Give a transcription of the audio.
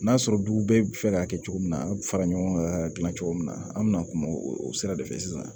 N'a sɔrɔ dugu bɛɛ bi fɛ k'a kɛ cogo min na a bi fara ɲɔgɔn kan gilan cogo min na an mi na kuma o sira de fɛ sisan